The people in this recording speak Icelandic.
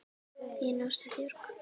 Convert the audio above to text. Þín Ása Björg.